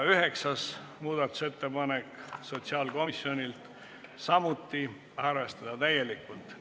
Üheksas muudatusettepanek on sotsiaalkomisjonilt, samuti arvestada täielikult.